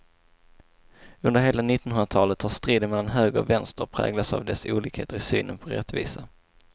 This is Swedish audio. Under hela nittonhundratalet har striden mellan höger och vänster präglats av dessa olikheter i synen på rättvisa.